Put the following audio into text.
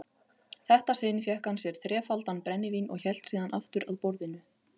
þetta sinn fékk hann sér þrefaldan brennivín og hélt síðan aftur að borðinu.